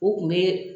U kun bɛ